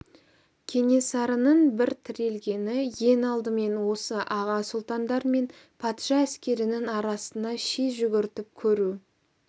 кенесарының бір тірелгені ең алдымен осы аға сұлтандар мен патша әскерінің арасына ши жүгіртіп көру